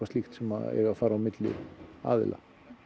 slíkt sem eiga að fara á milli aðila